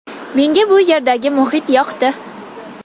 Menga bu yerdagi muhit yoqdi.